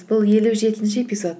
бұл елу жетінші эпизод